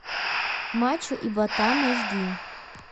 мачо и ботан аш ди